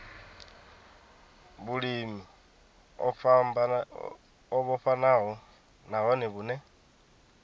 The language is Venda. vhulimi o vhofhanaho nahone vhune